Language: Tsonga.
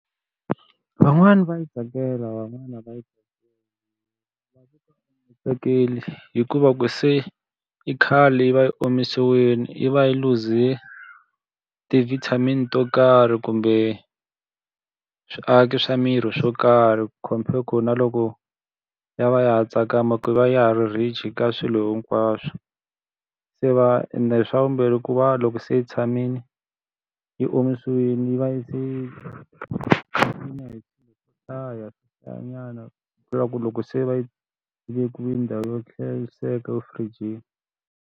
Van'wani va yi tsakela van'wana a va yi ri va ka tsakeli hikuva ku se i khale yi va yi omisiwile yi va yi luze ti-vitamin to karhi kumbe swiaki swa miri swo karhi compare ku na loko, ya va ya ha tsakamaka hikuva ya va ya ha ri rich ka swilo hinkwaswo. Se va ende swa vumbirhi ku va loko se tshamile yi omisiwile yi va yi se hi ku hlaya hlayanyana swi vula ku loko se va yi vekiwile ndhawu yo hlayiseka efirijini.